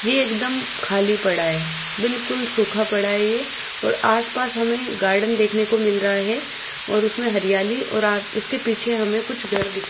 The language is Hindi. ए एकदम खाली पड़ा है बिल्कुल सूखा पड़ा है ए और आसपास हमें गार्डन देखने को मिल रहा है और उसमें हरियाली और आप उसके पीछे हमें कुछ घर दिखाई --